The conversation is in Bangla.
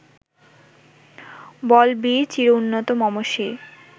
বল বীর চির উন্নত মম শির